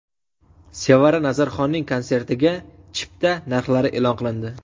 Sevara Nazarxonning konsertiga chipta narxlari e’lon qilindi.